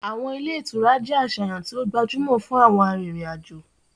Awọn ile-itura jẹ aṣayan ti o gbajumo fun awọn arinrin-ajo